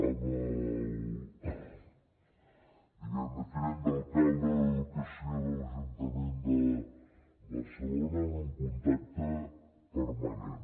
amb el diguem ne tinent d’alcalde d’educació de l’ajuntament de barcelona tenim un contacte permanent